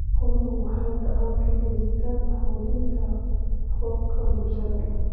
Xooluhu waxay gacan ka geystaan ??xoojinta hababka bulshada.